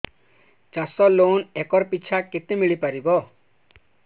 ଚାଷ loan acre ପିଛା କେତେ ମିଳି ପାରିବ